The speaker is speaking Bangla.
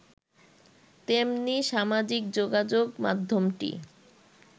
তেমনি সামাজিক যোগাযোগ মাধ্যমটি